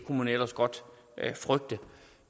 kunne man ellers godt frygte